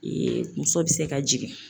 muso bɛ se ka jigin